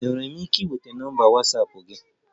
Enwere m ike ịnweta nọmba Watsapụ gị?